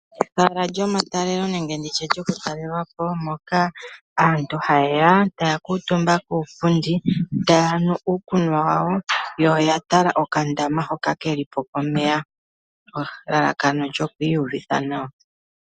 Ehala lyomatalelo nenge ndi tye lyoku talelwapo moka aantu haye ya taya kuutumba kuupundi taya nu uukunwa wawo yo oya tala okandama hoka kelipo komeya, elalakano olyoku uyuvitha nawa.